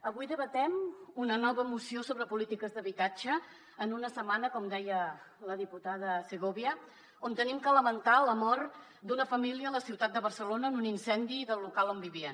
avui debatem una nova moció sobre polítiques d’habitatge en una setmana com deia la diputada segovia on hem de lamentar la mort d’una família a la ciutat de barcelona en un incendi del local on vivien